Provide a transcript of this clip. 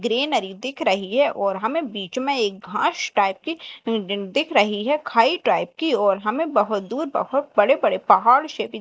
greenery दिख रही है और हमें बीच में एक घास टाइप की दिख रही है खाई टाइप की और हमें बहोत दूर बहोत बड़े बड़े पहाड़ से दि--